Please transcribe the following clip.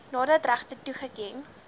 nadat regte toegeken